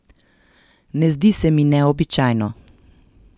Ne zdi se mi neobičajno.